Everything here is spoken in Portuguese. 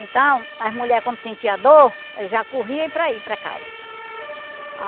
Então, as mulher quando sentia dor, já corria para ir para casa.